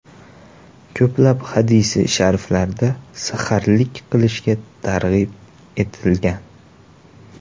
Ko‘plab hadisi shariflarda saharlik qilishga targ‘ib etilgan.